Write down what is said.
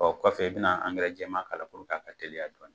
Ɔ kɔfɛ i bɛna angɛrɛ jɛman k'a la puruke a ka teliya dɔɔnin.